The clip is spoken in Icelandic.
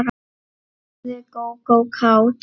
spurði Gógó kát.